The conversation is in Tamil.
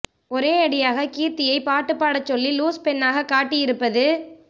ஒரே அடியாக கீர்த்தியை பாட்டு பாடச் சொல்லி லூஸ் பெண்ணாக காட்டியிருப்பது